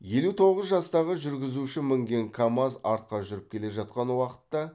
елу тоғыз жастағы жүргізуші мінген камаз артқа жүріп келе жатқан уақытта